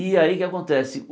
E aí o que é que acontece?